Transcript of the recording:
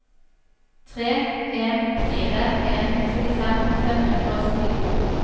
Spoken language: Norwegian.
tre en fire en trettifem fem hundre og syttito